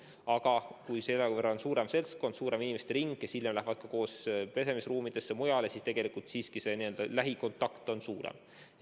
Aga kui on suurem seltskond, rohkem inimesi, kes hiljem lähevad koos pesemisruumidesse ja mujale, siis lähikontakte on rohkem.